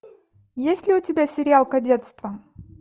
есть ли у тебя сериал кадетство